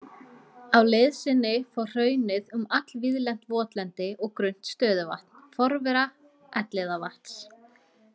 Á leið sinni fór hraunið um allvíðlent votlendi og grunnt stöðuvatn, forvera Elliðavatns.